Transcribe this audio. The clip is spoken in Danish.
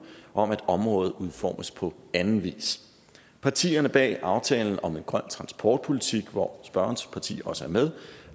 om at området udformes på anden vis partierne bag aftalen om en grøn transportpolitik hvor spørgerens parti også er med